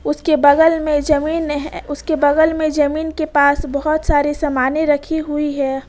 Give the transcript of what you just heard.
उसके बगल में जमीन है उसके बगल में जमीन के पास बहोत सारे समाने रखी हुई है।